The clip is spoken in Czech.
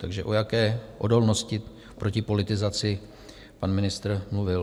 Takže o jaké odolnosti proti politizaci pan ministr mluvil?